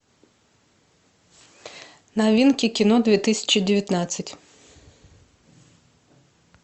новинки кино две тысячи девятнадцать